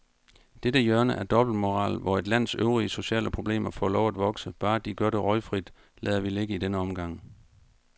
Dette hjørne af dobbeltmoral, hvor et lands øvrige sociale problemer får lov at vokse, bare de gør det røgfrit, lader vi ligge i denne omgang.